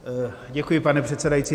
Děkuji, pane předsedající.